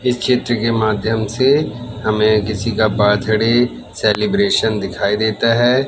इस चित्र के माध्यम से हमें किसी का बर्थडे सेलिब्रेशन दिखाई देता है।